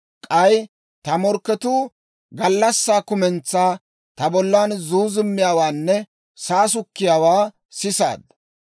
K'ay ta morkketuu gallassaa kumentsaa ta bollan zuuzummiyaawaanne saasukkiyaawaa sisaadda.